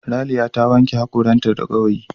Raliya ta wanke hakoranta da gawayi.